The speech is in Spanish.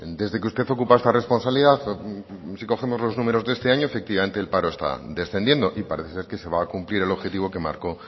desde que usted ocupa esta responsabilidad y si cogemos los números de este año efectivamente el paro está descendiendo y parece ser que se va a cumplir el objetivo que marcó